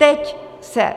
Teď se